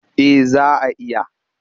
Eh za a iya.